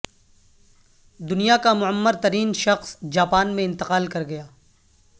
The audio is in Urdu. دنیا کا معمر ترین شخص جاپان میں انتقال کر گیا